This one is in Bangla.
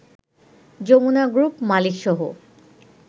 যমুনা গ্রুপ মালিকসহ